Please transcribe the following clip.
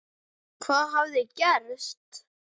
Hvað hafði gerst?